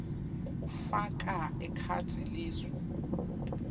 kufaka ekhatsi lisu